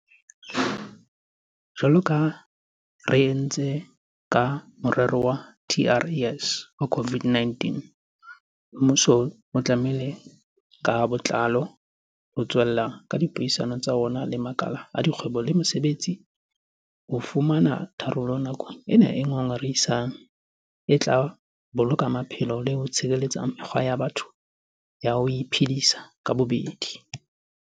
Jwalo ka ha re entse ka morero wa TERS wa COVID-19, mmuso o itlamme ka botlalo ho tswella ka dipuisano tsa ona le makala a kgwebo le mosebetsi ho fumana tharollo nakong ena e ngongorehisang e tla boloka maphelo le ho tshireletsa mekgwa ya batho ya ho iphedisa ka bobedi.